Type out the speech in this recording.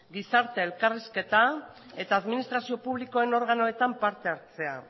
gizarte elkarrizketa eta administrazio publikoen organoetan parte hartzea